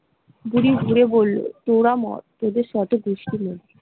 বুড়ি ঘুরে বলল তোরা মর, তোদের ।